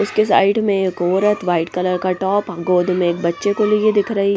उसके साइड में एक औरत वाइट कलर का टॉप गोद में एक बच्चे को लिए दिख रही हैं।